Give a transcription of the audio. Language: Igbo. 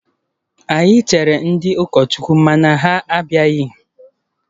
Anyị chere ndị ụkọchukwu mana ha abịaghị